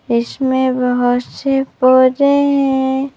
इसमें बहुत से पौधे है।